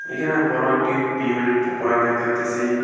এখানে বড় একটি বিয়েবাড়ির প্রোগ্রাম দেখতে পারতেসি।